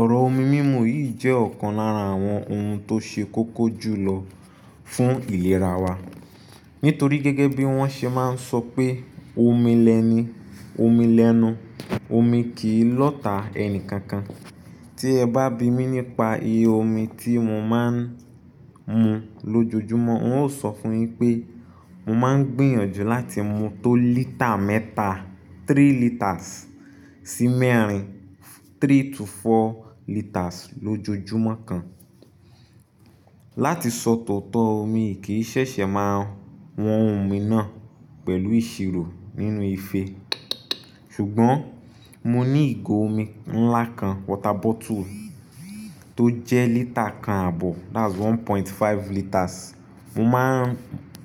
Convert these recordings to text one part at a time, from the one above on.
Ọ̀rọ̀ omi mímu yìí jẹ́ ọ̀kan lára àwọn ohun tó ṣe kókó jùlọ fún ìlera wa. Nítorí gẹ́gẹ́ bí wọ́n ṣe máa ń sọ pé omi lẹni, omi lẹ́nu, omi kì í lọ̀tà ẹni kankan. Tí ẹ bá bi mí nípa iye omi tí mo máa ń mu lójoojúmọ́, n óò sọ fún yín pé mo máa ń gbìyànjú láti mu tó lítà mẹ́ta, three litres sí mẹ́rin, three to four litres lójoojúmọ́ kan. Láti sọ tọtọ mi o kì í ṣẹ̀ṣẹ̀ máa wọn omi náà pẹ̀lú ìṣirò nínú ìfé. Ṣùgbọ́n mo ní ìgò omi ńlá kan, water bottle tó jẹ́ lítà kan àbọ̀, that's one point five litres. Mo máa ń,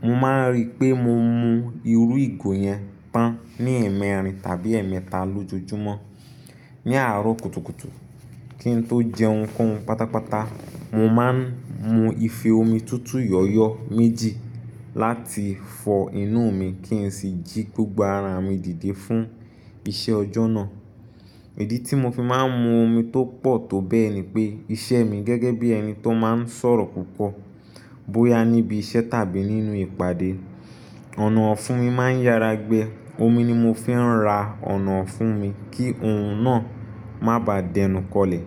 mo máa ń rí pé mo mu irú ìgò yẹn tán ní ẹ̀ẹ̀mẹ́rin tàbí ẹ̀ẹ̀mẹta lójoojúmọ́. Ni aarọ kutukutu kí n tó jẹ ohunkóhun pátápátá, mo máa ń mu ife omi tútù yọ̀ọ̀yọ̀ méjì láti fọ inú mi kí n sì jí gbogbo ara mi dìde fún iṣẹ́ ọjọ́ náà. Ìdí tí mo fi máa ń mu omi tó pọ̀ tó bẹ́ẹ̀ ni pé iṣẹ́ mi gẹ́gẹ́ bí ẹni tó máa ń sọ̀rọ̀ púpọ̀ bóyá níbi iṣẹ́ tàbí nínú ìpàdé, ọ̀nà ọ̀fun mi máa ń yára gbẹ. Omi ni mo fi ń ra ọ̀nà ọ̀fun mi kí ohun náà má bà dẹnù kọlẹ̀.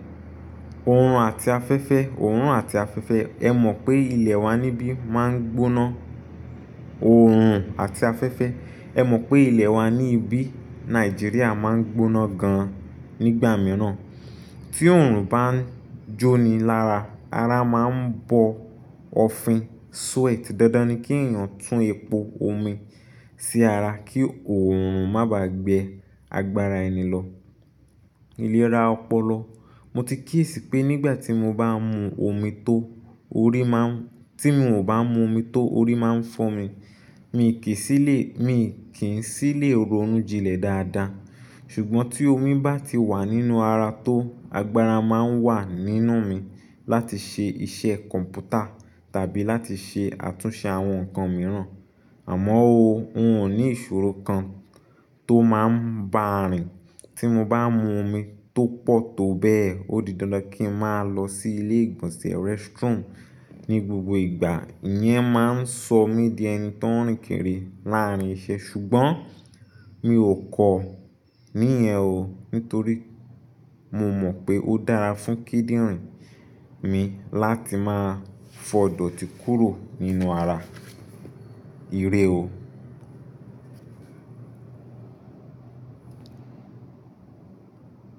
Òòrùn àti afẹ́fẹ́, Òórùn àti afẹ́fẹ́. Ẹ mọ̀ pé ilẹ̀ wa níbí máa ń gbóná. Òòrùn àti afẹ́fẹ́. Ẹ mọ̀ pé ilẹ̀ wa ní ibí Nàìjíríà máa ń gbóná gan nígbà mìíràn. Tí oòrùn bá ń jóni lára, ara máa ń bọ ọ̀fin, sweat. Dandan ni kí èèyàn tún epo omi sí ara kí oòrùn má bà gbẹ agbára ẹni lọ. Ìlera ọpọlọ. Mo ti kíyesí pé nígbà tí mo bá ń mu omi tó, orí máa ń-- tí mi ò bá mu omi tó, orí máa ń fọ́ mi. Mi kì í sí lè, mi kì í sí lè ronú jinlẹ̀ dáadáa. Ṣùgbọ́n tí omi bá ti wà nínú ara tó, agbára máa ń wà nínú mi láti ṣe iṣẹ́ kọ̀m̀pútà tàbí láti ṣe àtúnṣe àwọn nǹkan mìíràn. Àmọ́ ooo, ń ò ní ìṣòro kan tó máa ń bá à rìn. Tí mo bá mu omi tó pọ̀ tó bẹ́ẹ̀, ó di dandan kí n máa lọ sí ilé ìgbọ̀nsẹ̀, restroom ní gbogbo ìgbà. Ìyẹn máa ń sọ mí di ẹni tó ń rìn kiri láàárín iṣẹ́ ṣùgbọ́n mi ò kọ̀ ọ́ níyẹ̀n oóó, nítorí mo mọ̀ pé ó dára fún kíndìnrín mi láti máa fọ̀ idọ̀ti kúrò nínú ara. Irẹ o.